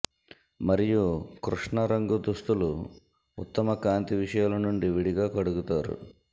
మరియు కృష్ణ రంగు దుస్తులు ఉత్తమ కాంతి విషయాలు నుండి విడిగా కడుగుతారు